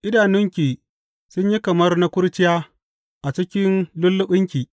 Idanunki sun yi kamar na kurciya a cikin lulluɓinki.